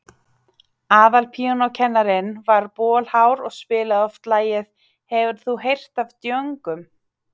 Aðalpíanókennarinn var bolhár og spilaði oft lagið „Hefur þú heyrt af djöngum?“.